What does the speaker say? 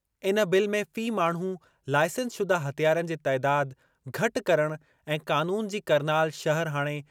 इन बिल में फ़ी माण्हू लाइसेंस शुदा हथियारनि जे तइदाद घटि करणु ऐं क़ानून जी